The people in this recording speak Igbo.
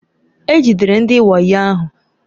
E jidere ndị wayo ahụ.